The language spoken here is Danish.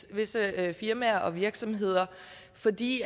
visse firmaer og virksomheder fordi